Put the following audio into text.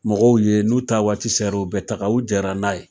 Mɔgɔw ye n'u ta waati sera, u bɛɛ taga u jɛnna n'a ye.